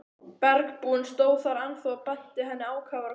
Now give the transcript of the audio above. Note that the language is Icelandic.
Bergbúinn stóð þar ennþá og benti henni ákafur að koma.